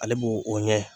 Ale b'o o ɲɛ